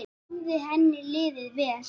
Þar hafði henni liðið vel.